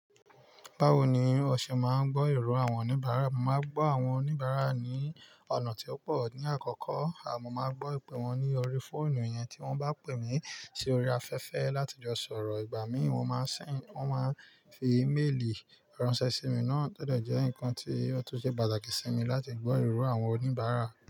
Báwo ni o ṣe máa ń gbọ́ ero àwọn oníbàárà? Mo máa ń gbọ́ àwọn oníbàárà ní ọ̀nà tí ó pọ̀ ní àkọ́kọ́. A mò máa gbọ́ ìpè wọn ní orí fóònù yẹn tí wọ́n bá pè mí sí orí afẹ́fẹ́ láti jọ sọ̀rọ̀. Ìgbà míì wọ́n máa ń sẹ̀nd, wọ́n máa ń fi íméèlì ránṣẹ́ sí mi náà, tọ̀ de jẹ́ nǹkan tí ó tun ṣe pàtàkì sí mi láti gbọ́ ìró àwọn oníbàárà.